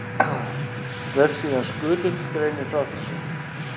Vefsíðan Skutull greinir frá þessu.